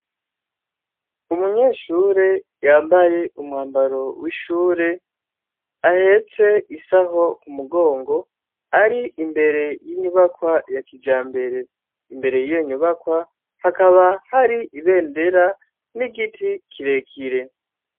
Umunyeshure yambaye umwambaro w'ishure, ahetse isaho ku mugongo, ari imbere y'inyubakwa ya kijambere. Imbere y'iyo nyubakwa hakaba hari ibendera n'igiti kirekire.